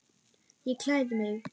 Ég klæði mig.